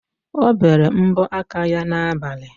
O bere mbọ aka ya n'abali.